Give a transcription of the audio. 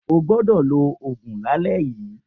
O gbọdọ̀ lo òògùn lálẹ yíi.